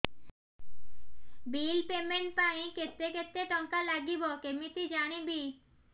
bill payment ପାଇଁ କେତେ କେତେ ଟଙ୍କା ଲାଗିବ କେମିତି ଜାଣିବି